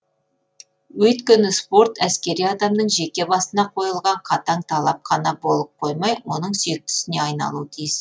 өйткені спорт әскери адамның жеке басына қойылған қатаң талап қана болып қоймай оның сүйікті ісіне айналуы тиіс